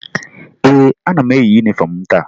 Ee, ana m eyi yunifọmụ m taa